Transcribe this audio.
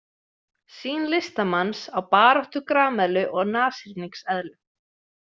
Sýn listamanns á baráttu grameðlu og nashyrningseðlu.